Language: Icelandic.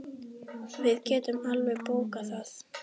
Við getum alveg bókað það.